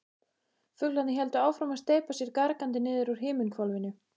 Fuglarnir héldu áfram að steypa sér gargandi niður úr himinhvolfinu.